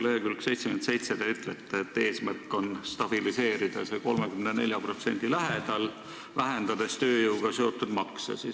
Leheküljel 77 te ütlete, et eesmärk on stabiliseerida see 34% lähedal, vähendades tööjõuga seotud makse.